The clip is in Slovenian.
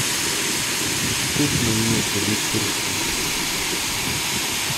Od tod nadimek Devetprsti.